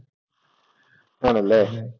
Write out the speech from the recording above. ആണല്ലേ?